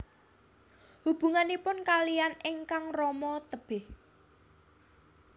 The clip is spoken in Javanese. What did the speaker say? Hubunganipun kaliyan ingkang rama tebih